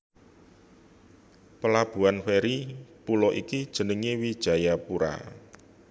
Plabuhan feri pulo iki jenengé Wijayapura